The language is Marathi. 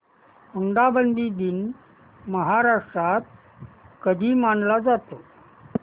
हुंडाबंदी दिन महाराष्ट्रात कधी मानला जातो